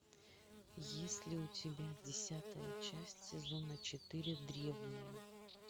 есть ли у тебя десятая часть сезона четыре древние